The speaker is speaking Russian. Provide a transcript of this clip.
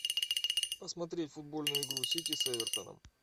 посмотреть футбольную игру сити с эвертоном